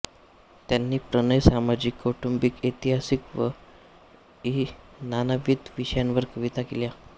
त्यांनी प्रणय सामाजिक कौटुंबिक ऐतिहासिक इ नानाविध विषयांवर कविता केल्या